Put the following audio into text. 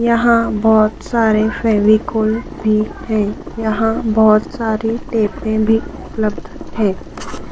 यहाँ बहोत सारे फेविकोल भी हैं यहाँ बहोत सारे टेपे भी उपलब्ध है।